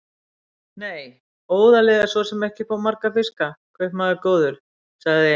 Nei, óðalið er svo sem ekki upp á marga fiska, kaupmaður góður, sagði